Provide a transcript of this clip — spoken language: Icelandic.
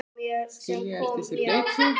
Skilja eftir sig bleytu.